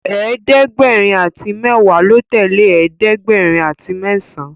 ẹ̀ẹ́dẹ̀gbẹ̀rin àti mẹwa ló tẹlẹ ẹ̀ẹ́dẹ̀gbẹ̀rin àti mesan